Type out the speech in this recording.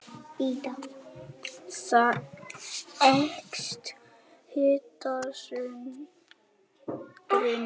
Þar eykst hitasundrunin.